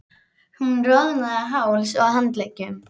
Hún roðnaði á hálsi og handleggjum.